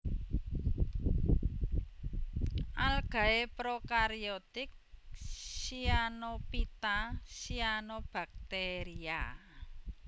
Algae prokaryotik Cyanophyta Cyanobacteria